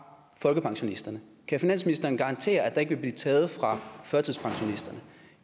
folkepensionisterne kan finansministeren garantere at der ikke vil blive taget fra førtidspensionisterne